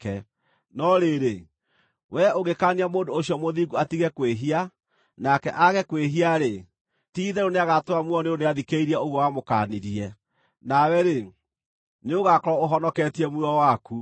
No rĩrĩ, wee ũngĩkaania mũndũ ũcio mũthingu atige kwĩhia, nake aage kwĩhia-rĩ, ti-itherũ nĩagatũũra muoyo nĩ ũndũ nĩathikĩrĩirie ũguo wamũkaanirie, nawe-rĩ, nĩũgaakorwo ũhonoketie muoyo waku.”